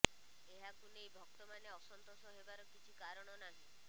ଏହାକୁ ନେଇ ଭକ୍ତମାନେ ଅସନ୍ତୋଷ ହେବାର କିଛି କାରଣ ନାହିଁ